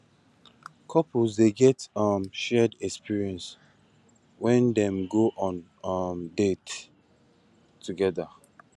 couples dey get um shared experience when dem go on um dates together